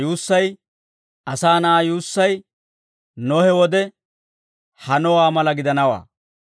Ta yuussay, Asaa Na'aa yuussay, Nohe wode hanowaa mala gidanawaa.